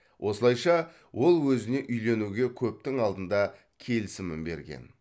осылайша ол өзіне үйленуге көптің алдында келісімін берген